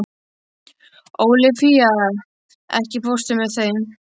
Ólafía, ekki fórstu með þeim?